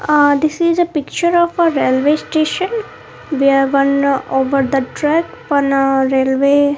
ah this is a picture of a railway station where one over the track on a railway --